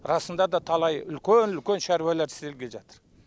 расында да талай үлкен үлкен шаруалар істелгелі жатыр